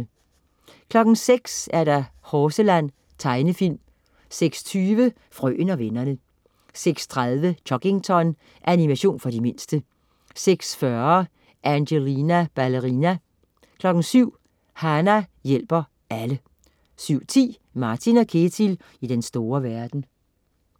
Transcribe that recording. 06.00 Horseland. Tegnefilm 06.20 Frøen og vennerne 06.30 Chuggington. Animation for de mindste 06.40 Angelina Ballerina 07.00 Hana hjælper alle 07.10 Martin & Ketil i den store verden